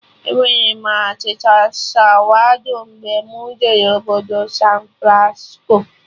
Enwere m achịcha sawado mgbe mụ jere obodo San Francisco